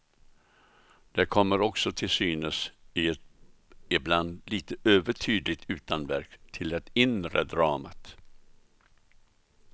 Det kommer också till synes i ett ibland lite övertydligt utanverk till det inre dramat.